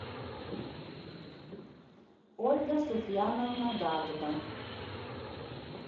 ольга суфьяновна дагба